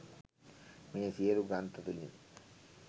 මේ සියලු ග්‍රන්ථ තුළින්